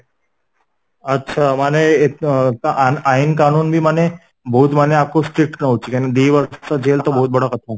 ଆଛା ମାନେ ଅ ଆଇନ କାନୁନବି ମାନେ ବହୁତ ୟାକୁ strict ନୋଉଛି କାହିଁକି ଦି ବର୍ଷ ଜେଲ ତ ବହୁତ ବଡ଼ କଥା